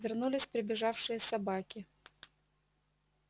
вернулись прибежавшие собаки